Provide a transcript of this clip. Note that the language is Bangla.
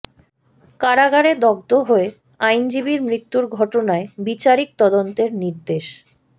কারাগারে দগ্ধ হয়ে আইনজীবীর মৃত্যুর ঘটনায় বিচারিক তদন্তের নির্দেশ